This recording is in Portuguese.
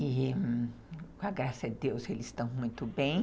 E, com a graça de Deus, eles estão muito bem.